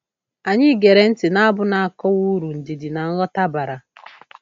Anyị gere ntị na abu na-akọwa uru ndidi na nghọta bara